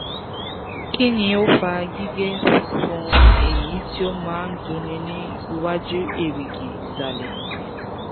kini o fa gige funfun eyi ti o ma n dunni ni iwaju erigi isale?